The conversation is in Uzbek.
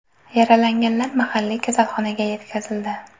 Yaralanganlar mahalliy kasalxonaga yetkazildi.